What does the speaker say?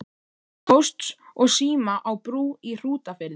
Pósts og síma á Brú í Hrútafirði.